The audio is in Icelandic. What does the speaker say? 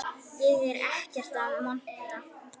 Ég er ekkert að monta.